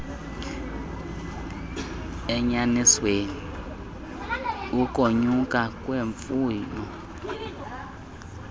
enyanisweni ukonyuka kwemfuno